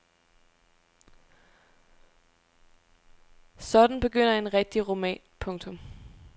Sådan begynder en rigtig roman. punktum